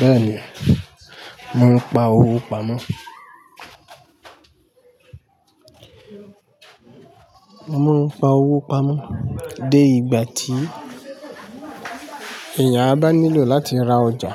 Bẹ́ẹ̀ni, mo ń pa owó pamọ́, mo ń pa owó pamọ́ dé ìgbà tí èèyàn a bá nílò láti ra ọjà